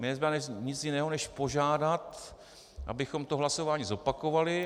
Mně nezbývá nic jiného než požádat, abychom to hlasování zopakovali.